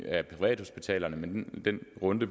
af privathospitalerne men den runde